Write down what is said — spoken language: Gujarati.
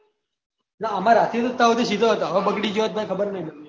ના આમરરાતી ત્યાં સુધી સીધો હતો હવે બગડી ગયો હોય તો ખબર નહિ